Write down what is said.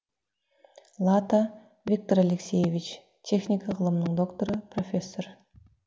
лата виктор алексеевич техника ғылымының докторы профессор